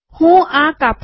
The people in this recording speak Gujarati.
હું આ કાપું